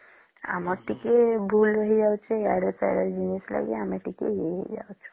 ଆମର ଟିକେ ଭୁଲ ହେଇ ଯାଉଛେ ୟାଡ଼େ ସେଆଡ ଜିନିଷ ଲାଗି ଆମେ ଟିକେ ୟେ ହେଇ ଯାଉଛୁ